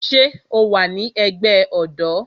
Ṣé o wa ní ẹgbẹ́ ọ̀dọ́?